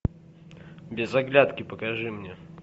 без оглядки покажи мне